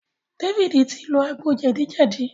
David ti lò àgbò jedi jedi